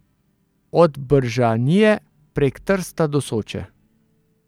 Od Bržanije prek Trsta do Soče.